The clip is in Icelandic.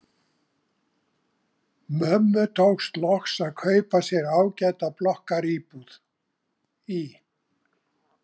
Mömmu tókst loks að kaupa sér ágæta blokkaríbúð í